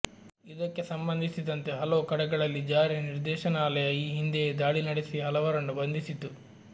ಇದಕ್ಕೆ ಸಂಬಂಧಿಸಿದಂತೆ ಹಲವು ಕಡೆಗಳಲ್ಲಿ ಜಾರಿ ನಿರ್ದೇಶ ನಾಲಯ ಈ ಹಿಂದೆಯೇ ದಾಳಿ ನಡೆಸಿ ಹಲವರನ್ನು ಬಂಧಿಸಿತ್ತು